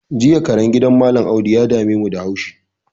Jiya karen gidan mallam audu ya damemu da haushi